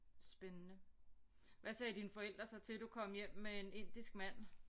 Spændende hvad sagde dine forældre så til du kom hjem med en indisk mand